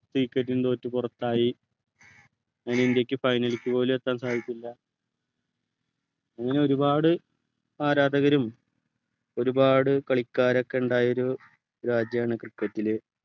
wicket നു തോറ്റു പുറത്തായി അതിന് ഇന്ത്യയ്ക്ക് final പോലും എത്താൻ സാധിച്ചില്ല അങ്ങനെ ഒരുപാട് ആരാധകരും ഒരുപാട് കളിക്കാരൊക്കെ ണ്ടായൊരു രാജ്യമാണ് cricket ലു